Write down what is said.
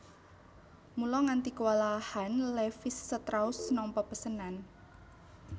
Mula nganti kewalahan Levis strauss nampa pesenan